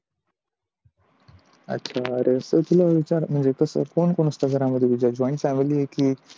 अच्छा. म्हणजे कोण कोण असतं घरामध्ये तुझ्या joint family आहे की